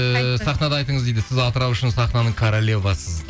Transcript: ііі сахнада айтыңыз дейді сіз атырау үшін сахнаның королевасыз